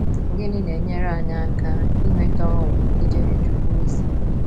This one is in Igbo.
Gịnị na - enyere anyị aka inweta ọṅụ n’ijere Chukwu ozi?